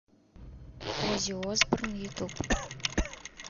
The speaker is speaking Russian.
оззи осборн ютуб